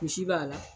Misi b'a la